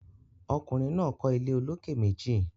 ọkùnrin náà kọ́ ilé olókè méjì.